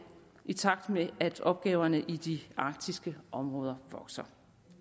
i takt med at opgaverne i de arktiske områder vokser